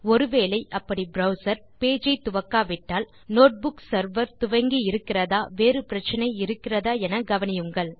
ஒரு வேளை அப்படி ப்ரவ்சர் பேஜ் ஐ துவக்காவிட்டால் நோட்புக் செர்வர் துவங்கி இருக்கிறதா வேறு பிரச்சினை இருக்கிறதா என கவனியுங்கள்